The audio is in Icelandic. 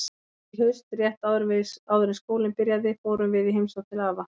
Nú í haust, rétt áður en skólinn byrjaði, fórum við í heimsókn til afa.